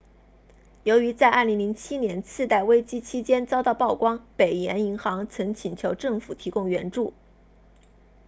由于在2007年次贷危机期间遭到曝光北岩银行 northern rock 曾请求政府提供援助